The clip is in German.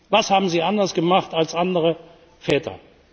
Was haben Sie anders gemacht, als andere Väter.